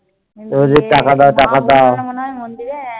টাকা দাও, টাকা দাও